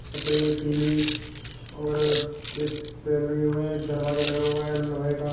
सफेद पीली और एक एक दरवाजा लगा हुआ है लोहे का।